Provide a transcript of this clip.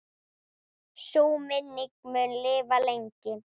Sú minning mun lifa lengi.